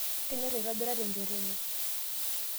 kenyor aitobira tenjoto enye